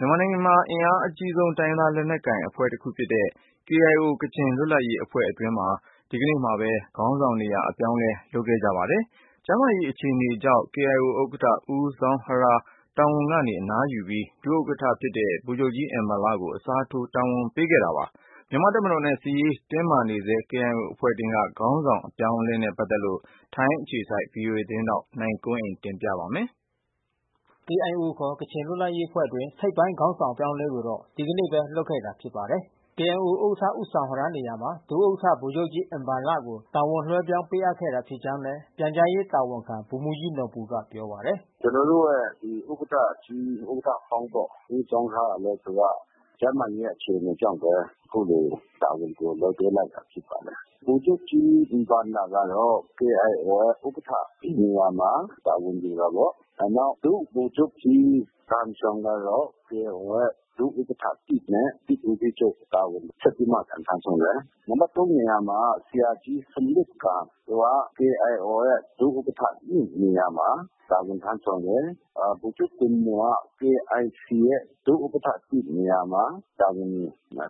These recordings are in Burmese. မြန်မာနိုင်ငံက အင်အားကြီး တိုင်းရင်းသား လက်နက်ကိုင် အဖွဲ့တခုဖြစ်တဲ့ KIO ကချင်လွတ်လပ်ရေးအဖွဲ့အတွင်း ဒီကနေ့ပဲ ခေါင်းဆောင်နေရာ အပြောင်းအလဲ လုပ်ခဲ့ကြပါတယ်။ ကျန်းမာရေးအခြေအနေကြောင့်KIO ဥက္ကဌဦးဇောင်းဟရား တာဝန်ကနေ အနားယူပြီး ဒုဥက္ကဋ္ဌ ဗိုလ်ချုပ်ကြီးအင်ဘန်လ ကို အစားထိုးတာဝန်ပေးခဲ့တာပါ။ မြန်မာ့တပ်မတော်နဲ့ စစ်ရေးတင်းမာနေဆဲ KIO အဖွဲ့တွင်းက ခေါင်းဆောင်းပိုင်း အပြောင်းအလဲနဲ့ ပတ်သက်လို့ ဗွီအိုအေမြန်မာပိုင်း ထိုင်းအခြေစိုက်သတင်းထောက် နိုင်ကွန်းအိန် က အပြည့်အစုံ ပြောပြပေးမှာ ဖြစ်ပါတယ်။ KIO ကချင်လွတ်လပ်ရေးအဖွဲ့အတွင်း ထိပ်ပိုင်းခေါင်းဆောင် အပြောင်းအလဲကိုတော့ ဒီကနေ့ပဲ လုပ်ခဲ့တာ ဖြစ်ပါ တယ်။ KIO ဥက္ကဋ္ဌ ဦးဇောင်ဟရား နေရာမှာ ဒုဥက္ကဋ္ဌ ဗိုလ်ချုပ်ကြီး အင်ဘန်လကို တာဝန်လွှဲပြောင်းပေးအပ်ခဲ့တာ ဖြစ်ကြောင်းလည်း ပြန်ကြားရေးတာဝန်ခံ ဗိုလ်မှူးကြီးနော်ဘူ ကပြောပါတယ်။ "ကျွန်တော်တို့ရဲ့ဥက္ကဌကြီး ဥက္ကဌဟောင်း ဦးဇောင်းဟရားကလဲသူက ကျန်းမာရေး အခြေအနေကြောင့်ဘဲ အခုလိုတာဝန် ကို လက်လွှဲလိုက်တာဘဲဖြစ်ပါတယ်။ ဗိုလ်ချုပ်ကြီး အင်ဘန်လ ကတော့ KIO ဥက္ကဌ နေရာမှာ တာဝန်ယူပါတယ်။ နောက် ဒုဗိုလ်ချုပ်ကြီး ဂမ်ရှောင် ကတော့ KIO ရဲ့ ဒုဥက္ကဌ နဲ့ စစ်ဦးစီးချုပ် တာဝန်ဆက်ပြီးမှပြန် ထမ်းဆောင်တယ်။ နံပတ် နေရာ မှာ ဆရာကြီးဆွမ်လွတ်ဂမ် သူက KIOရဲ့ ဒုဥက္ကဌ နေရာမှာ တာဝန်ထမ်းဆောင်တယ်။ ဗိုလ်ချုပ်ဂွမ်မော်က KIC ရဲ့ ဒုဥက္ကဌ နေရာ မှာ တာဝန်ယူ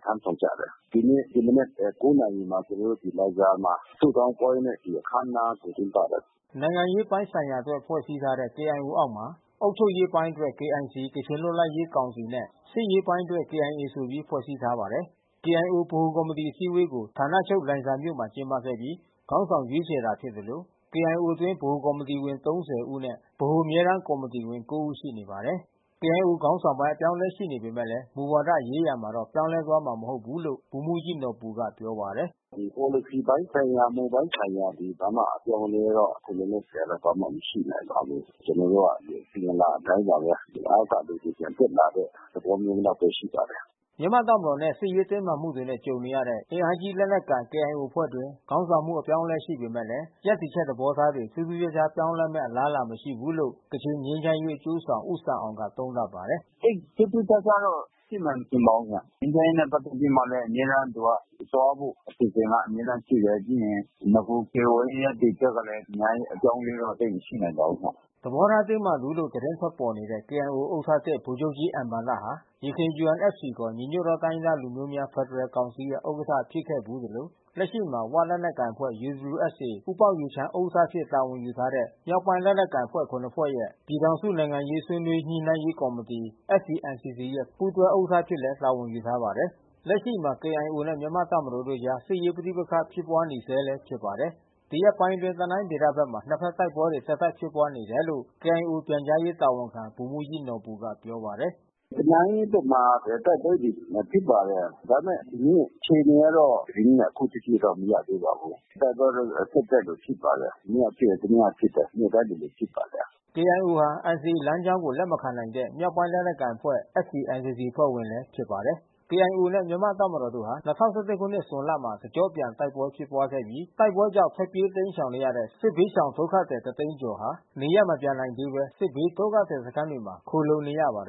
ထမ်းဆောင်ကြတယ်။ ဒီနေ့ ဒီမနက် နာရီမှာ ကျွန်တော်တို့ဒီလိုင်ဇာမှာ ဆုတောင်းပွဲနဲ့ ဒီအခန်းအနားကိုကျင်းပတယ်။" နိုင်ငံရေးပိုင်းဆိုင်ရာအတွက် ဖွဲ့စည်းထားတဲ့ KIO အောက်မှာ အုပ်ချုပ်ရေးပိုင်းအတွက် KIC ကချင်လွတ်လပ်ရေးကောင်စီ နဲ့စစ်ရေးပိုင်းအတွက် KIA ဆိုပြီး ဖွဲ့စည်းထားပါတယ်။ KIO ဗဟိုကော်မတီအစည်းအဝေးကို ဌာနချုပ်လိုင်ဇာမြို့မှာ ကျင်းပပြီးခေါင်းဆောင်ရွေးချယ် တာဖြစ်သလို KIOအတွင်း ဗဟိုကော်မတီဝင် ၃၀ ဦးနဲ့ ဗဟိုအမြဲ တမ်းကော်မတီဝင် ကိုးဦး ရှိနေပါတယ်။ KIO ခေါင်းဆောင်းပိုင်း အပြောင်းအလဲ ရှိပေမယ့် မူဝါဒရေးရာမှာတော့ ပြောင်းလဲသွားမှာ မဟုတ်ဘူးလို့ လည်း ဗိုလ်မှူးကြီးနော်ဘူ ကပြောပါတယ်။ "ပေါ်လစီပိုင်းဆိုင်ရာ မူပိုင်းဆိုင်ရာတွေဘာမှ အပြောင်းမလဲတော့ ခုလောလောဆယ် ဘာမှမရှိနိုင်ပါဘူး။ ကျွန်တော်တို့က အစဉ်အလာအတိုင်းပါဘဲ။ အောက်က လူတွေပြန်တက်လာ တဲ့ သဘောမျိုးလောက် ဘဲရှိပါတယ်။" မြန်မာ့တပ်မတော်နဲ့ စစ်ရေးတင်းမာမှုတွေ ကြုံနေရတဲ့ အင်အားကြီး လက်နက်ကိုင် KIO အဖွဲ့တွင်း ခေါင်းဆောင်မှု အပြောင်းအလဲ ရှိခဲ့ပေမဲ့ ရပ်တည်ချက် သဘောထားတွေ ထူးထူးခြားခြား ပြောင်းလဲမယ့် အလားအလာတော့ မရှိဘူးလို့ ကချင်ငြိမ်းချမ်းရေး အကျိုးဆောင် ဦးဆန်အောင်ကလည်း သုံးသပ်ပါတယ်။ "သိပ်ထူးထူးခြားခြားတော့ရှိမယ်မထင်ပါဘူးခင်ဗျား။ ငြိမ်းချမ်းရေး နဲ့ပက်သက်ပြီး အမြဲတမ်း သူက သွားဖို့အစီအစဉ် အမြဲ တမ်း ရှိတယ်။ ပြီးရင်နဂို KIO ရဲ့ရပ်တည်ချက်ကလဲ အများကြီးပပြောင်းအလဲတော့သိပ်မရှိနိုင်ပါဘူးခင်ဗျ။" သဘောထားတင်းမာသူလို့ သတင်းထွက်ပေါ်နေတဲ့ KIOဥက္ကဌသစ်ဗိုလ်ချုပ်ကြီး အင်ဘန်လဟာ ယခင် UNFCခေါ် ညီညွတ်သောတိုင်းရင်းသားများ ဖက်ဒရယ်ကောင်စီရဲ့ဥက္ကဋ္ဌ ဖြစ်ခဲ့ဘူးသလို လက်ရှိမှာ ‘ဝ’လက်နက်ကိုင်အဖွဲ့ ဦးပေါက်ယူချမ်း ဥက္ကဋ္ဌအဖြစ် တာဝန်ယူထားတဲ့ မြောက်ပိုင်းလက်နက်ကိုင်ခုနစ်ဖွဲ့ရဲ့ ပြည်ထောင်စု နိုင်ငံရေးဆွေး နွေးညှိနှိုင်းရေးကော်မတီ ပူးတွဲဥက္ကဋ္ဌ အဖြစ်လည်းတာဝန်ယူထားပါတယ်။ လက်ရှိမှာလည်း KIOနဲ့မြန်မာ့တပ်မတော်တို့အကြားမှာ စစ်ရေးပဋိပက္ခဖြစ်ပွါးနေ ဆဲလဲဖြစ်ပါတယ်။ ဒီရက်ပိုင်းအတွင်း တနိုင်းဒေသ ဘက်မှာနှစ်ဖက်တိုက်ပွဲတွေ ဆက်တိုက်ဖြစ်ပွါးနေတယ်လို့ KIOပြန်ကြားရေးတာဝန်ခံ ဗိုလ်မှူးကြီးနော်ဘူက ပြောပါတယ်။ " တနိုင်းဘက်မှာတိုက်ပွဲတွေဖြစ်ပါတယ်။ ဒါပေမဲ့ ဒီနေ့အခြေအနေကတော့ သတင်းကအခုထက်ထိ မရသေးပါဘူး။ တိုက်ပွဲ တော့ဆက်တိုက်လိုလိုဖြစ်ပါတယ်။ မနေ့ကဖြစ်တယ် တနေ့ကဖြစ်တယ်။ နေ့တိုင်းလိုလိုဖြစ်ပါတယ်။" KIOဟာNCAလမ်းကြောင်းကို လက်မခံနိုင်တဲ့မြောက်ပိုင်းလက်နက်ကိုင်အဖွဲ့ FPNCCအဖွဲ့ဝင်လည်း ဖြစ်ပါတယ်။ KIOနဲ့မြန်မာတပ်မတော်တို့ဟာ ၂၀၁၁ခုနှစ်ဇွန်လမှာတကျော့ပြန်တိုက်ပွဲဖြစ်ပွါးခဲ့ပြီး တိုက်ပွဲကြောင့်ထွက်ပြေးတိမ်း ရှောင်နေရတဲ့ စစ်ဘေးရှောင်ဒုက္ခသည်တသိန်းကျော်ဟာ နေရပ်မပြန်နိုင်သေးဘဲ စစ်ဘေးဒုက္ခသည်စခန်းမှာခိုလှုံ နေရ ပါတယ်